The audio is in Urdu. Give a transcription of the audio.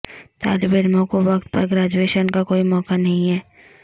طالب علموں کو وقت پر گریجویشن کا کوئی موقع نہیں ہے